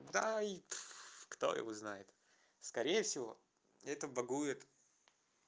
дай кто его знает скорее всего это багует